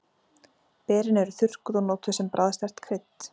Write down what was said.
Berin eru þurrkuð og notuð sem bragðsterkt krydd.